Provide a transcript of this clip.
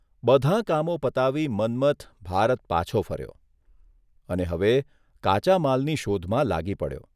બધાં કામો પતાવી મન્મથ ભારત પાછો ફર્યો અને હવે કાચા માલની શોધમાં લાગી પડ્યો.